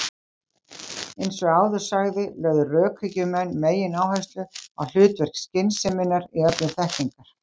Eins og áður sagði lögðu rökhyggjumenn megináherslu á hlutverk skynseminnar í öflun þekkingar.